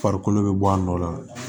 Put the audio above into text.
Farikolo bɛ bɔ a nɔ la